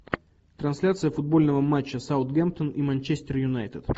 трансляция футбольного матча саутгемптон и манчестер юнайтед